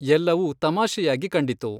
ಎಲ್ಲವೂ ತಮಾಷೆಯಾಗಿ ಕಂಡಿತು.